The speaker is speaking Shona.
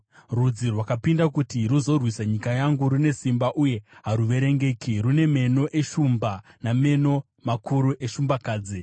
Rudzi rwarwisa nyika yangu, rune simba uye haruverengeki; rune meno eshumba nameno makuru eshumbakadzi.